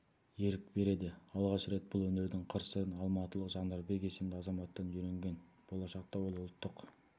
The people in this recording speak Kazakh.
ерік береді алғаш рет бұл өнердің қыр-сырын алматылық жандарбек есімді азаматтан үйренген болашақта ол ұлттық